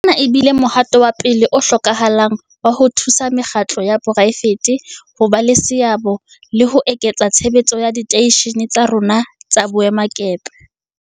Ona e bile mohato wa pele o hlokahalang wa ho thusa mekgatlo ya poraefete ho ba le seabo le ho eketsa tshebetso ya diteishene tsa rona tsa boemakepe.